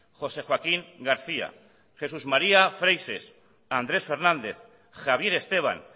josé joaquín garcía jesús garcía freixes andrés fernández javier esteban